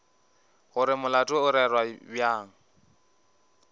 gore molato o rerwa bjang